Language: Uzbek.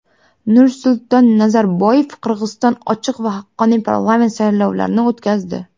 Nursulton Nazarboyev: Qozog‘iston ochiq va haqqoniy parlament saylovlarini o‘tkazdi.